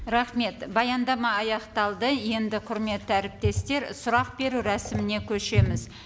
рахмет баяндама аяқталды енді құрметті әріптестер сұрақ беру рәсіміне көшеміз